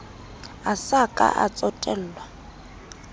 a sa ka a tsotellwa